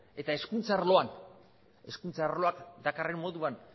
eta hezkuntza arloan hezkuntza arloak dakarren moduan